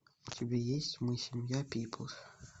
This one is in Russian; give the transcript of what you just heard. у тебя есть мы семья пиплз